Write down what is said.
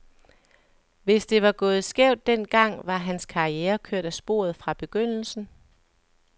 Hvis det var gået skævt den gang, var hans karriere kørt af sporet fra begyndelsen.